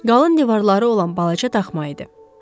Qalın divarları olan balaca daxma idi.